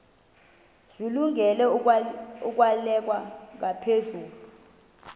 zilungele ukwalekwa ngaphezulu